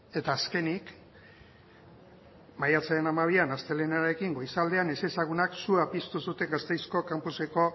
eta azkenik maiatzaren hamabian astelehen goizaldean ezezagunak sua piztu zuten gasteizko kanpuseko